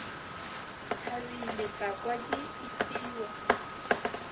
thabile ka kwa ke itiwa